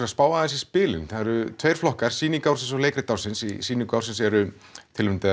að spá aðeins í spilin það eru tveir flokkar sýning ársins og leikrit ársins í sýningu ársins eru tilnefndar